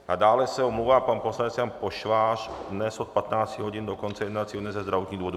A dále se omlouvá pan poslanec Jan Pošvář dnes od 15 hodin do konce jednacího dne ze zdravotních důvodů.